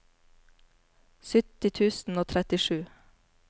sytti tusen og trettisju